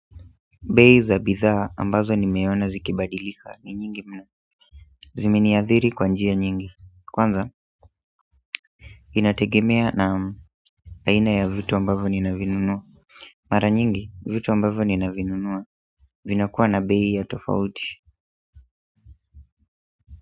Bei za bidhaa ambazo nimeona zikibadilika ni nyingi mno. Zimeniadhiri kwa njia nyingi kwanza. Vinategemea na aina ya vitu ambavo ninavinunua mara nyingi vitu ambavo ninavinunua vinakuwa na bei ya tofauti.